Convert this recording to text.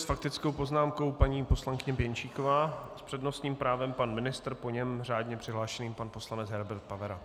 S faktickou poznámkou paní poslankyně Pěnčíková, s přednostním právem pan ministr, po něm řádně přihlášený pan poslanec Herbert Pavera.